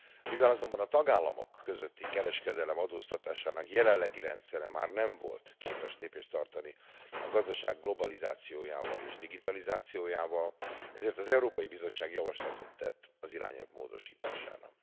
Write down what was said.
Mivel azonban a tagállamok közötti kereskedelem adóztatásának jelenlegi rendszere már nem volt képes lépést tartani a gazdaság globalizációja és digitalizációjával, ezért az Európai Bizottság javaslatot tett az irányelv módosítására.